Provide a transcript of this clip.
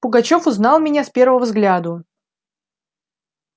пугачёв узнал меня с первого взгляду